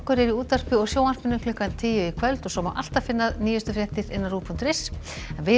eru í útvarpi og sjónvarpi klukkan tíu í kvöld og svo má alltaf finna nýjustu fréttir á rúv punktur is en við